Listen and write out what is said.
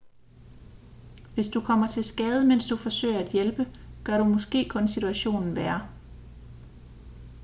hvis du kommer til skade mens du forsøger at hjælpe gør du måske kun situationen værre